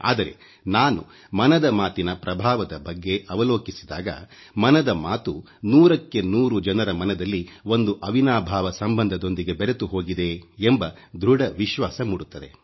ಆದರೆ ನಾನು ಮನದ ಮಾತಿನ ಪ್ರಭಾವದ ಬಗ್ಗೆ ಅವಲೋಕಿಸಿದಾಗ ಮನದ ಮಾತು ನೂರಕ್ಕೆ ನೂರು ಜನರ ಮನದಲ್ಲಿ ಒಂದು ಅವಿನಾಭಾವ ಸಂಬಂಧದೊಂದಿಗೆ ಬೆರೆತು ಹೋಗಿದೆ ಎಂಬ ಧೃಡ ವಿಶ್ವಾಸ ಮೂಡುತ್ತದೆ